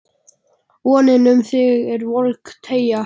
VONIN um þig er volg teygja